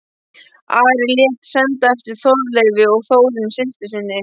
Ari lét senda eftir Þorleifi og Þórunni systur sinni.